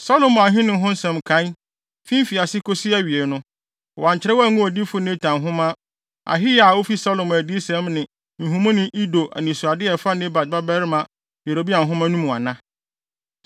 Salomo ahenni ho nsɛm nkae, fi mfiase kosi awiei no, wɔankyerɛw angu odiyifo Natan nhoma, Ahiya a ofi Silon adiyisɛm ne nhumuni Ido anisoadehu a ɛfa Nebat babarima Yeroboam ho no mu ana?